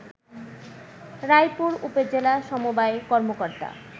রায়পুর উপজেলা সমবায় কর্মকর্তা